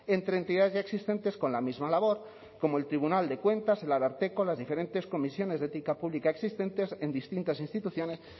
entre entidades ya existentes con la misma labor como el tribunal de cuentas el ararteko las diferentes comisiones de ética pública existentes en distintas instituciones